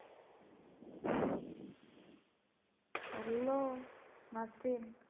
hello Nasrin